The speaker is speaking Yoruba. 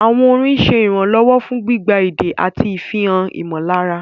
Àwọn orin ń ṣe ìrànlọ́wọ́ fún gbígba èdè àti ìfihàn ìmọ̀lára.